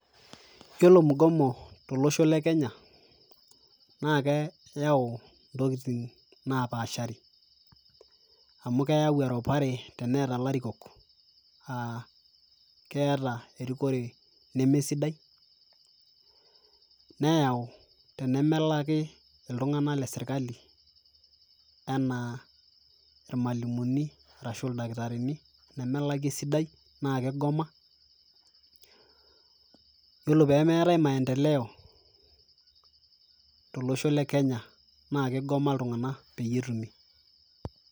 yiolo mgomo tolosho le kenya naa keyau intokiting napashari amu keyau eropare teneeta ilarikok uh, keeta erikore nemesidai neyau tenemelaki iltung'anak lesirkali enaa irmalimuni arashu ildakitarini nemelaki esidai naa kigoma yiolo pemeetae maendeleo tolosho le kenya naa kigoma iltung'anak peyie etumi.